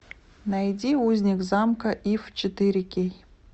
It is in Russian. найди узник замка иф четыре кей